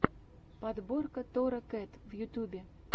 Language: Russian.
подборка тора кэт в ютьюбе